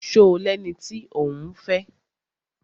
Ṣo lẹni tí òún fẹ́?